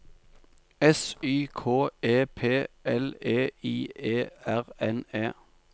S Y K E P L E I E R N E